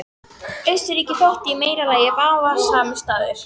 Austurríki þótti í meira lagi vafasamur staður.